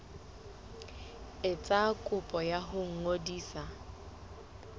etsa kopo ya ho ngodisa